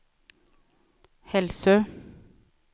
Hälsö